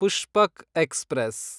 Pushpak express